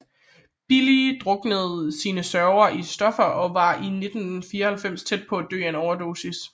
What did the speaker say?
Billy druknede sine sorger i stoffer og var i 1994 tæt på at dø af en overdosis